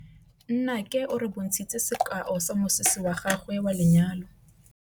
Nnake o re bontshitse sekaô sa mosese wa gagwe wa lenyalo.